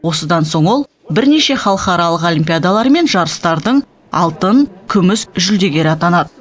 осыдан соң ол бірнеше халықаралық олимпиадалар мен жарыстардың алтын күміс жүлдегері атанады